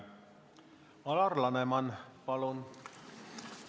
Alar Laneman, palun!